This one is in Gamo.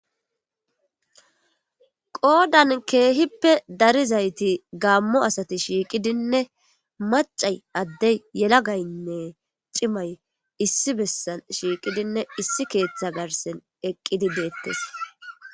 Qoodan keehippe darizayti gaammo asati shiiqidinne macay addey yela gaynne cimay issi bessan shiiqidinne issi keeththa garsen eqqidi deettes.